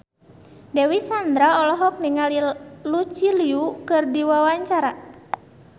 Dewi Sandra olohok ningali Lucy Liu keur diwawancara